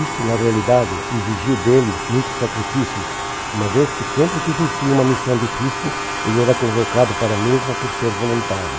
Isto, na realidade, exigiu dele muitos sacrifícios, uma vez que sempre que existia uma missão difícil, ele era convocado para a mesma por ser voluntário.